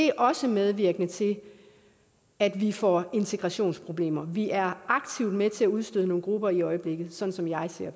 er også medvirkende til at vi får integrationsproblemer vi er aktivt med til at udstøde nogle grupper i øjeblikket sådan som jeg ser